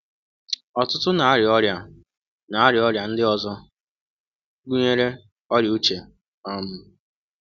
Ọtụtụ na-aria Ọrịa na-aria Ọrịa ndị ọzọ, gụnyere ọrịa uche. um